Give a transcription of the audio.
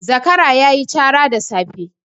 Zakara ta yi cara da safe.